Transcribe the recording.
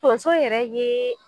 Tonso yɛrɛ yee